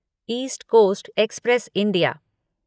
east Coast Express India